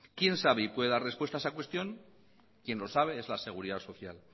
quién sabe y puede dar respuesta a cuestión quien lo sabe es la seguridad social